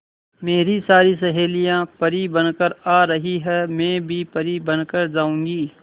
मेरी सारी सहेलियां परी बनकर आ रही है मैं भी परी बन कर जाऊंगी